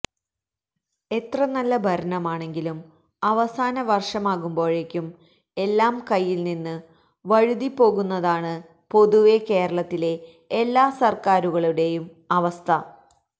എത്ര നല്ല ഭരണമാണെങ്കിലും അവസാന വർഷമാകുമ്പോഴേക്കും എല്ലാം കൈയിൽനിന്ന് വഴുതിപ്പോകുന്നതാണ് പൊതുവെ കേരളത്തിലെ എല്ലാ സർക്കാരുകളുടെയും അവസ്ഥ